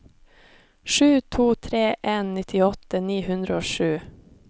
sju to tre en nittiåtte ni hundre og sju